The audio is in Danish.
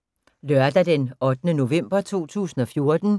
Lørdag d. 8. november 2014